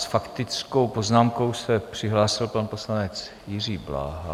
S faktickou poznámkou se přihlásil pan poslanec Jiří Bláha.